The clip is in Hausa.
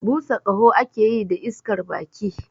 Busa ƙaho ake yi da iskar baki